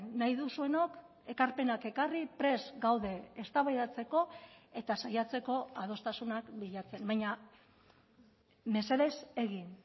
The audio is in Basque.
nahi duzuenok ekarpenak ekarri prest gaude eztabaidatzeko eta saiatzeko adostasunak bilatzen baina mesedez egin